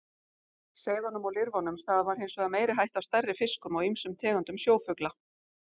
Seiðunum og lirfunum stafar hins vegar meiri hætta af stærri fiskum og ýmsum tegundum sjófugla.